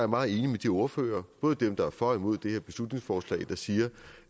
meget enig med de ordførere både dem der er for og imod det her beslutningsforslag der siger